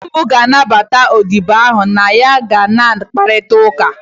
Nne m ga-anabata odibo ha na ya ga na-akparịta ụka